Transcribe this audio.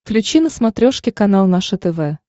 включи на смотрешке канал наше тв